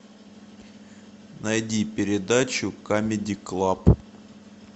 найди передачу камеди клаб